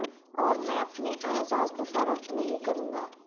اور میں اپنے اعزاز کو فروخت نہیں کروں گا